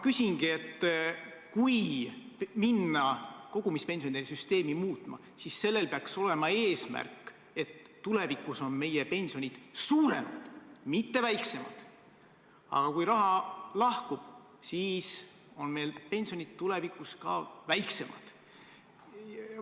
Kui minna kogumispensionide süsteemi muutma, siis selle eesmärk peaks olema, et tulevikus on meie pensionid suuremad, mitte väiksemad, aga kui raha läheb süsteemist välja, siis on meil pensionid tulevikus väiksemad.